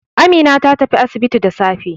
Amina ta tafi asibiti da safe.